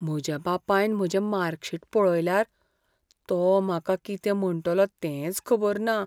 म्हज्या बापायन म्हजें मार्कशीट पळयल्यार, तो म्हाका कितें म्हणटलो तेंच खबर ना.